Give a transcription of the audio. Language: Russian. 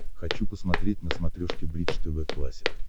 хочу посмотреть на смотрешке бридж тв классик